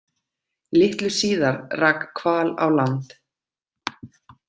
Litlu síðar rak hval á land.